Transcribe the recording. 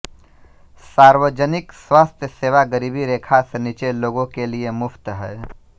सार्वजनिक स्वास्थ्य सेवा गरीबी रेखा से नीचे लोगों के लिए मुफ्त हैं